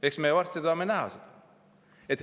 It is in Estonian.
Eks me varsti saame näha.